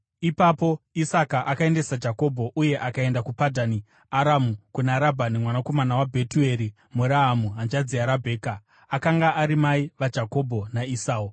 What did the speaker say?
Ipapo Isaka akaendesa Jakobho, uye akaenda kuPadhani Aramu, kuna Rabhani mwanakomana waBhetueri muAramu, hanzvadzi yaRabheka, akanga ari mai vaJakobho naEsau.